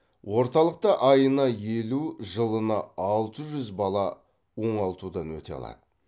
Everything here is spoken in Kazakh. орталықта айына елу жылына алты жүз бала оңалтудан өте алады